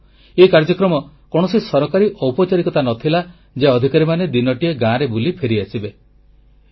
ବନ୍ଧୁଗଣ ଏ କାର୍ଯ୍ୟକ୍ରମ କୌଣସି ସରକାରୀ ଔପଚାରିକତା ନ ଥିଲା ଯେ ଅଧିକାରୀମାନେ ଦିନଟିଏ ଗାଁରେ ବୁଲି ଫେରିଆସିବେ